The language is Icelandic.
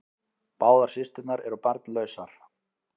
Báðar systurnar eru barnlausar